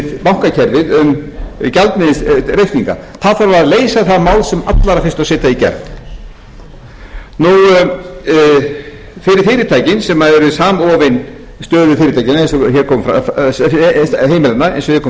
bankakerfið um gjaldmiðilsreikninga það þarf að leysa það mál sem allra fyrst og setja það í gegn fyrir fyrirtækin sem eru samofin stöðu heimilanna eins og hér kom fram að þá þurfum